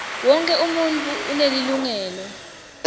wonkhe umuntfu unelilungelo